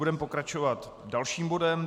Budeme pokračovat dalším bodem.